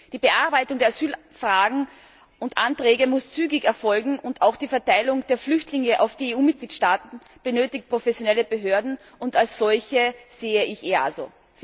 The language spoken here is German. Die Bearbeitung der Asylfragen und ─anträge muss zügig erfolgen, und auch die Verteilung der Flüchtlinge auf die EU Mitgliedstaaten benötigt professionelle Behörden, und als solche sehe ich das EASO.